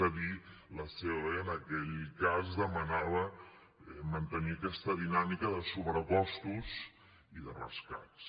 és a dir la ceoe en aquell cas demanava mantenir aquesta dinàmica de sobrecostos i de rescats